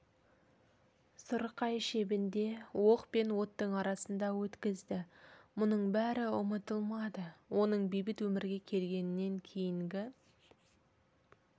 сұрқай шебінде оқ пен оттың арасында өткізді мұның бәрі ұмытылмады оның бейбіт өмірге келгеннен кейінгі